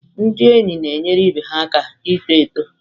Ndị enyi na-enyere ibe ha aka ito eto.